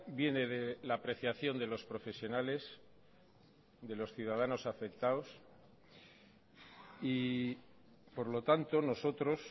viene de la apreciación de los profesionales de los ciudadanos afectados y por lo tanto nosotros